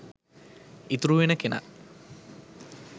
ඉතුරු වෙන කෙනා